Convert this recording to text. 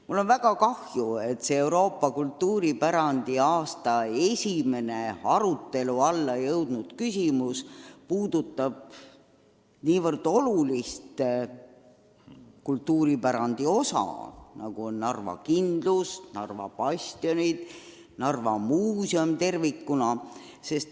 Mul on väga kahju, et Euroopa kultuuripärandi aasta esimene arutelu alla jõudnud küsimus puudutab nii olulist kultuuripärandi osa, nagu on Narva kindlus, Narva bastionid, Narva Muuseum tervikuna.